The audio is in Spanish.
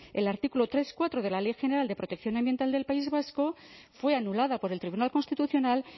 el artículo tres cuatro de la ley general de protección ambiental del país vasco fue anulada por el tribunal constitucional